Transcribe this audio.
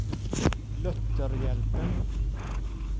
Lutherhjälpen